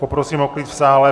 Poprosím o klid v sále.